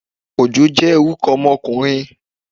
Òjó jẹ́ orúkọ ọmọkùnrin